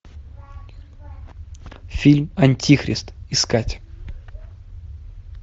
фильм антихрист искать